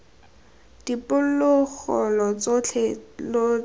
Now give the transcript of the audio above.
diphologolo tsotlhe lo tla tswa